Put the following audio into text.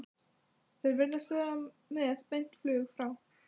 Þeir virðast vera með beint flug frá